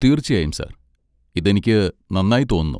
തീർച്ചയായും, സർ. ഇത് എനിക്ക് നന്നായി തോന്നുന്നു.